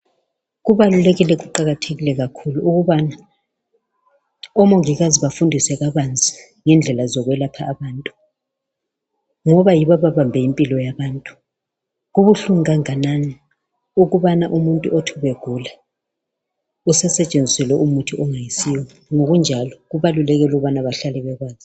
Kubalulekile kuqakathekile kakhulu ukubana omongikazi bafundise kabanzi ngendlela zokwelapha abantu ngoba yibo ababambe impilo yabantu kubuhlungu kanganani ukubana umuntu othi begula usesetshenziselwe umuthi ongasuwo ngokunjalo kubalulekile ukuthi bahlale bekwazi